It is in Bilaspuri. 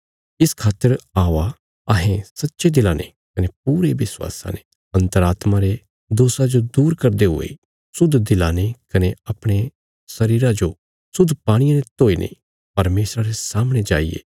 इस खातर औआ अहें सच्चे दिला ने कने पूरे विश्वासा ने अन्तरात्मा रे दोषा जो दूर करदे हुये शुद्ध दिला ने कने अपणे शरीरा जो शुद्ध पाणिये ने धोकर परमेशरा रे सामणे जाईये